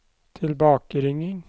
tilbakeringing